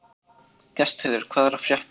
Gestheiður, hvað er að frétta?